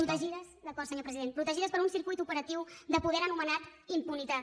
protegides d’acord senyor president per un circuit operatiu de poder anomenat impunitat